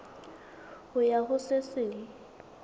ho ya ho se seng